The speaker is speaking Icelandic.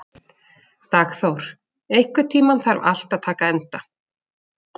Dagþór, einhvern tímann þarf allt að taka enda.